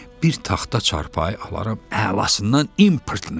Bir taxta çarpayı alaram əlasından importunu.